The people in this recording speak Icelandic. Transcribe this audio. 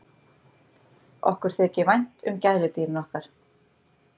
Okkur þykir vænt um gæludýrin okkar.